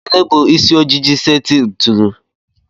Gịnị bụ isi ojiji seti ntụnụ?